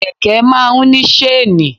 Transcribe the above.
Kẹ̀kẹ́ máa ń ní ṣéènì.